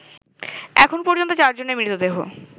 এখন পর্যন্ত ৪ জনের মৃতদেহ